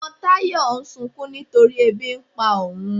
Ọmọ Tayọ̀ ń ṣunkún nítorí èbí n pà ọún.